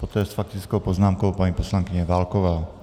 Poté s faktickou poznámkou paní poslankyně Válková.